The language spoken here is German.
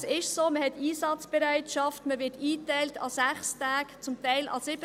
Es ist aber so, dass man Einsatzbereitschaft hat und an 6 Tagen eingeteilt wird, zum Teil an 7 Tagen.